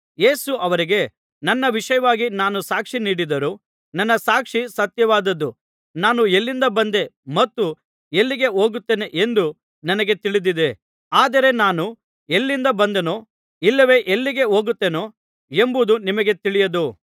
ಯೇಸು ಅವರಿಗೆ ನನ್ನ ವಿಷಯವಾಗಿ ನಾನು ಸಾಕ್ಷಿನೀಡಿದರೂ ನನ್ನ ಸಾಕ್ಷಿ ಸತ್ಯವಾದದ್ದು ನಾನು ಎಲ್ಲಿಂದ ಬಂದೆ ಮತ್ತು ಎಲ್ಲಿಗೆ ಹೋಗುತ್ತೇನೆ ಎಂದು ನನಗೆ ತಿಳಿದಿದೆ ಆದರೆ ನಾನು ಎಲ್ಲಿಂದ ಬಂದೆನೋ ಇಲ್ಲವೆ ಎಲ್ಲಿಗೆ ಹೋಗುತ್ತೇನೋ ಎಂಬುದು ನಿಮಗೆ ತಿಳಿಯದು